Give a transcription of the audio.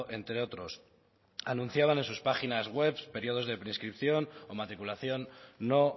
entre otros anunciaban en sus páginas webs periodos de prescripción o matriculación no